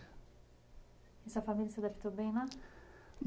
E sua família se adaptou bem, né?